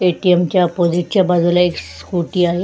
ATM. च्या ऑपोजिटच्या बाजूला एक स्कूटी आहे.